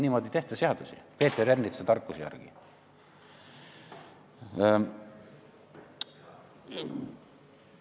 Niimoodi ei tehta seadusi, Peeter Ernitsa tarkuse järgi.